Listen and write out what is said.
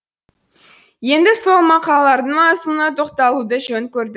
енді сол мақалалардың мазмұнына тоқталуды жөн көрдік